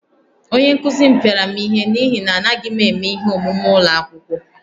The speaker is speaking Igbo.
Onye nkụzi m pịara m ihe n’ihi na anaghị m eme ihe omume ụlọ akwụkwọ